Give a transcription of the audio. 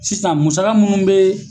Sisan musaka munnu bɛɛɛ.